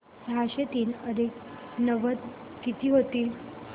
सहाशे तीन अधिक नव्वद किती होतील